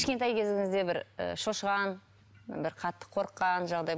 кішкентай кезіңізде бір і шошыған бір қатты қорыққан жағдай